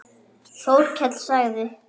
Þórkell sagði